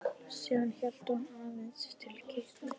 Síðan hélt hún áleiðis til Kýpur.